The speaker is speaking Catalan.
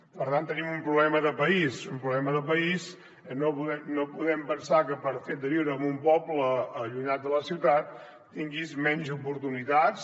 per tant tenim un problema de país un problema de país que no podem pensar que pel fet de viure en un poble allunyat de la ciutat tinguis menys oportunitats